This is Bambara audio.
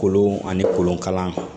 Kolon ani kolonkalan